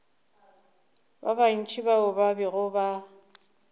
bantši bao ba bego ba